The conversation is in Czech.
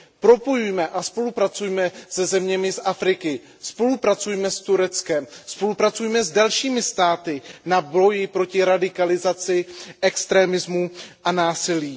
Propojujme a spolupracujme se zeměmi z Afriky, spolupracujme s Tureckem, spolupracujme s dalšími státy na boji proti radikalizaci, extremismu a násilí.